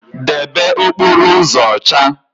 Debe okporo uzo ocha